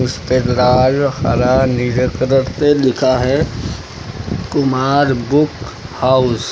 इसपे लाल हरा नीले कलर से लिखा है कुमार बुक हाउस ।